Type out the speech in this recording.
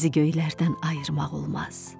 Dənizi göylərdən ayırmaq olmaz.